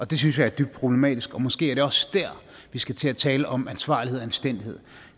det synes jeg er dybt problematisk og måske er det også der vi skal til at tale om ansvarlighed og anstændighed